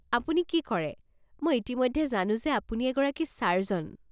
আপুনি কি কৰে, মই ইতিমধ্যে জানো যে আপুনি এগৰাকী ছাৰ্জন।